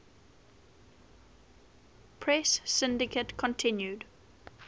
press syndicate continued